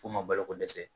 F'u ma baloko dɛsɛ